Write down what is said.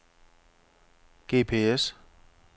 GPS